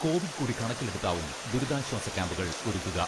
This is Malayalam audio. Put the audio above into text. കോവിഡ് കൂടി കണക്കിലെടുത്താവും ദുരിതാശ്വാസ ക്യാമ്പുകൾ ഒരുക്കുക.